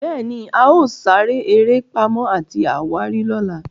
béèni, ao sere eré Pàmò àti àwárí lọla.